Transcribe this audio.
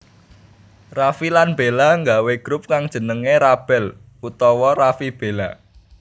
Raffi lan Bella nggawé grup kang jenengé RaBel utawa Raffi Bella